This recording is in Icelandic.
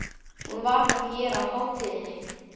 Hún var þá hér á hátíðinni!